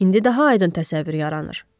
İndi daha aydın təsəvvür yaranır.